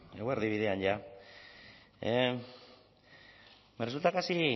eguerdi bidean ja me resulta casi